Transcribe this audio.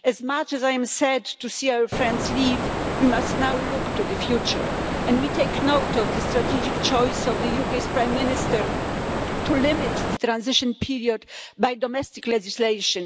As much as I am sad to see our friends leave, we must now look to the future, and we take note of the strategic choice of the UK's Prime Minister to limit the transition period by domestic legislation.